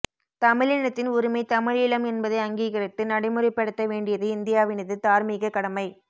தமிழினத்தின் உரிமை தமிழீழம் என்பதை அங்கீகரித்து நடைமுறைப்படுத்த வேண்டியது இந்தியாவினது தார்மீகக்கடமை